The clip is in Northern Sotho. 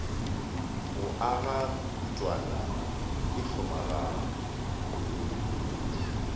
go aga mekutwana e hlomagane